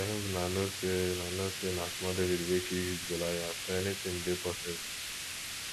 i hope una know say na know say na small david wey kill huge goliath so anything dey possible